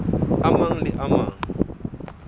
a mang le a mang